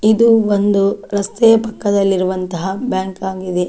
ಇದು ಒಂದು ರಸ್ತೆಯ ಪಕ್ಕದಲ್ಲಿರುವಂತಹ ಬ್ಯಾಂಕ್ ಆಗಿದೆ.